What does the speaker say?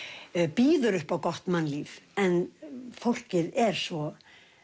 býður upp á gott mannlíf en fólkið er svo